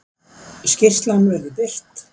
Skýrslan verður birt